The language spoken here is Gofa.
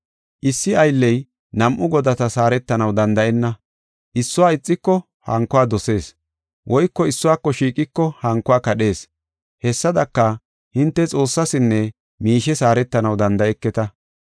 “Issi aylley nam7u godatas haaretanaw danda7enna. Issuwa ixiko hankuwa dosees woyko issuwako shiiqiko hankuwa kadhees. Hessadaka, hinte Xoossasinne miishes haaretanaw danda7eketa.”